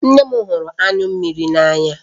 Nne m hụrụ anyụ mmiri n'anya